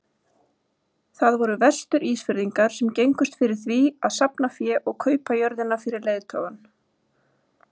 Það voru Vestur-Ísfirðingar sem gengust fyrir því að safna fé og kaupa jörðina fyrir leiðtogann.